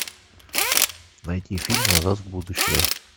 найти фильм назад в будущее